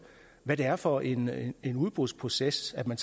hvad det er for en en udbudsproces man